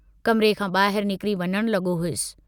कमिरे खां बाहिर निकरी वञण लगो हुअसि।